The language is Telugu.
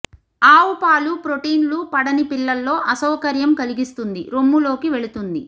ఆవు పాలు ప్రోటీన్లు పడని పిల్లల్లో అసౌకర్యం కలిగిస్తుంది రొమ్ము లోకి వెళుతుంది